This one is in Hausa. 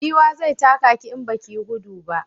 Giwa zai taka ki in baki yi gudu ba